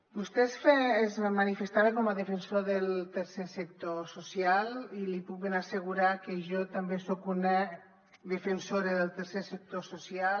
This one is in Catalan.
vostè es manifestava com a defensor del tercer sector social i li puc ben assegurar que jo també soc una defensora del tercer sector social